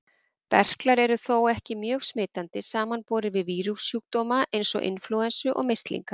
Berklar eru þó ekki mjög smitandi, samanborið við vírussjúkdóma eins og inflúensu og mislinga.